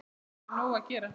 Nú færðu nóg að gera